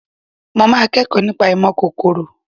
Mo máa kẹ́kọ̀ọ́ nípa ìmọ̀ kòkòrò